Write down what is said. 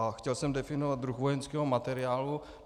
A chtěl jsem definovat druh vojenského materiálu.